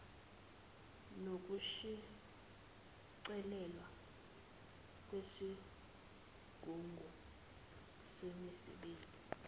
nokushicilelwa kwisigungu semisebenzi